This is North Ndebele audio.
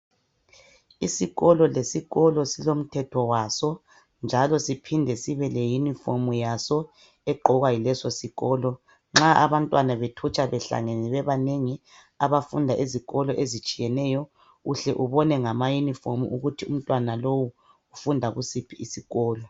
Isikolo lesikolo silo mthetho waso njalo siphinde sibe le uniform yaso egqokwa yileso sikolo .Nxa abantwana bethutsha behlangene bebanengi abafunda ezikolo ezitshiyeneyo uhle ubone ngama uniform ukuthi umntwana lowu ufunda kusiphi isikolo.